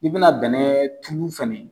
I bi na bɛnɛ tulu fɛnɛ